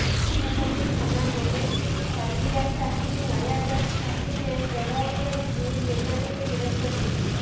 ନୂଆପଲ୍ଲୀ ଥାନା ପୁଲିସ ସାଲିଆସାହି ନୟାଗଡ଼ ସାହିରେ ଚଢ଼ଉ କରି ଦୁଇ ବେପାରୀଙ୍କୁ ଗିରଫ କରିଛି